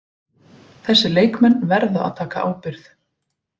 Þessir leikmenn verða að taka ábyrgð.